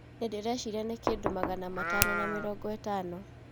Nĩndĩreciria nĩ kĩndũ magana matano na mĩrongo ĩtano